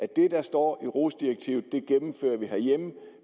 det der står i rohs direktivet